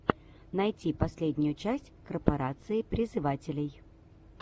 найти последнюю часть корпорации призывателей